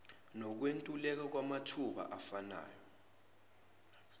nokwentuleka kwamathuba afanayo